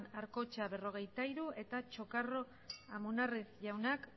arcocha berrogeita hiru eta chocarro amunarriz jaunak